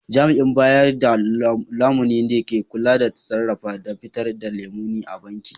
Jami'in bayar da lamuni ne ke kula da sarrafa da fitar da lamuni a banki